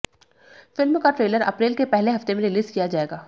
film का trailer अप्रैल के पहले हफ्ते में रिलीज किया जाएगा